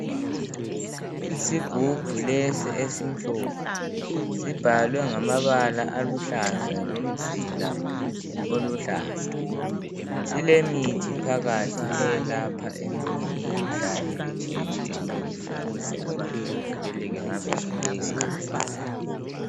Isigubhu lesi esimhlophe, sibhalwe ngamabala aluhlaza lomzila oluhlaza. Silemithi phakathi eyelapha iminye imikhuhlane etshiyetshiyeneyo ukuze abantu bavikeleke ngaso sonke isikhathi.